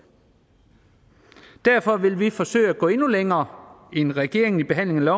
derfor vil vi forsøge at gå endnu længere end regeringen i behandlingen af